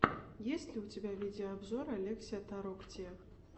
есть ли у тебя видеообзор олексия тороктия